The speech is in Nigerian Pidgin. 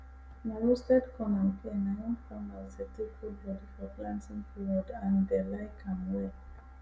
na roasted corn and pear na im farmers dey take hold body for planting period and dey like am well